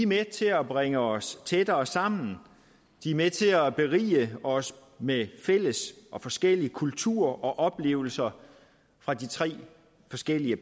med til at bringe os tættere sammen de er med til at berige os med fælles og forskellige kulturer og oplevelser fra de tre forskellige